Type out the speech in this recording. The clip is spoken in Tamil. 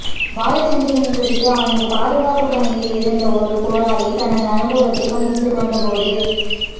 பாலச்சந்திரன் குறித்து அவனது பாதுகாப்பணியில் இருந்த ஒரு போராளி தனது அனுபவத்தை பகிர்ந்து கொண்ட போது